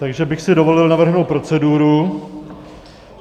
Takže bych si dovolil navrhnout proceduru.